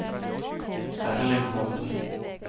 Erling Hovden